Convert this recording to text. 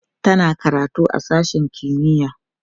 tana karatu a sashen kimiya